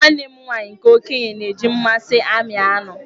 Nwanne m nwaanyị nke okenye na-eji mmasị ami anụ